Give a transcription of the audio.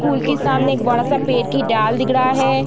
School के सामने एक बड़ा-सा पेड़ की डाल दिख रहा है।